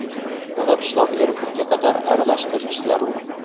Uni pishloq erigunga qadar aralashtirish zarur.